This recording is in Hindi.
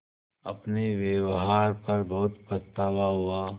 अपने व्यवहार पर बहुत पछतावा हुआ